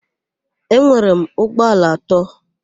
Enwere m ụgbọala atọ.